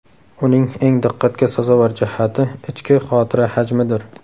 Uning eng diqqatga sazovor jihati ichki xotira hajmidir.